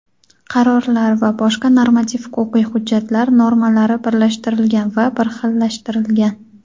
qarorlar va boshqa normativ-huquqiy hujjatlar normalari birlashtirilgan va birxillashtirilgan.